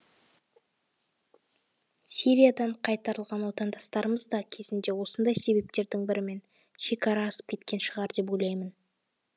сириядан қайтарылған отандастарымыз да кезінде осындай себептердің бірімен шекара асып кеткен шығар деп ойлаймын